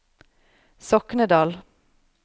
Soknedal